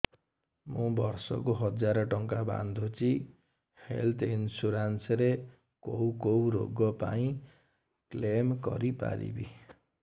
ମୁଁ ବର୍ଷ କୁ ହଜାର ଟଙ୍କା ବାନ୍ଧୁଛି ହେଲ୍ଥ ଇନ୍ସୁରାନ୍ସ ରେ କୋଉ କୋଉ ରୋଗ ପାଇଁ କ୍ଳେମ କରିପାରିବି